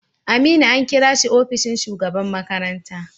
Aminu an kira shi ofishin shugaban makaranta.